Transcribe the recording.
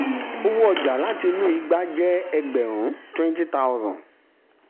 owó ọjà tó wà nínú igbá jẹ́ ẹgbẹ̀rún (20000).